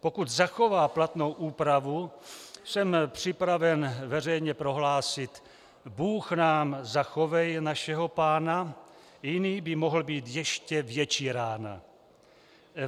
Pokud zachová platnou úpravu, jsem připraven veřejně prohlásit: bůh nám zachovej našeho pána, jiný by mohl být ještě větší rána.